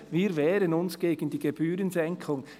«Wir wehren uns gegen die Gebührensenkung.»